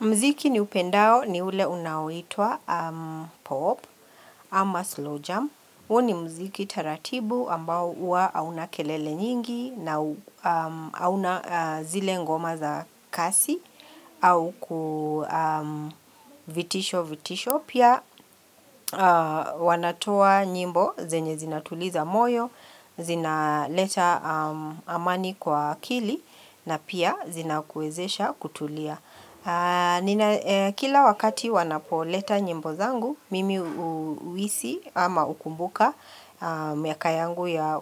Mziki ni upendao ni ule unaoitwa POP ama slow jam. Huo ni mziki taratibu ambao ua hauna kelele nyingi na hauna zile ngoma za kasi au kuvitisho vitisho. Pia wanatoa nyimbo zenye zinatuliza moyo, zina leta amani kwa akili na pia zina kuwezesha kutulia. Ninaye Kila wakati wanapoleta nyimbo zangu, mimi hu huhisi ama hukumbuka miaka yangu ya